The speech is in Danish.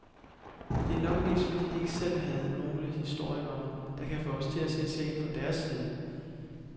Det er nok mest fordi de ikke selv havde nogle historikere, der kan få os til at se sagen fra deres side.